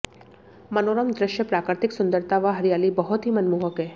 मनोरम दृश्य प्राकृतिक सुंदरता व हरियाली बहुत ही मनमोहक है